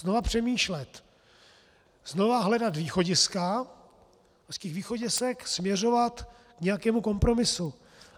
Znova přemýšlet, znova hledat východiska, z těch východisek směřovat k nějakému kompromisu.